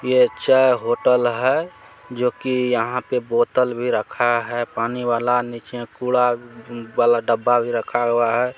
यह एक चाय होटल है जो कि यहाँ पे बोतल भी रखा है पानी वाला नीचे कूड़ा वाला डब्बा भी रखा हुआ है।